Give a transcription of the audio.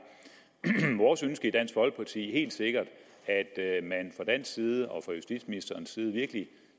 vores ønske i dansk folkeparti helt sikkert at man fra dansk side og fra justitsministerens side virkelig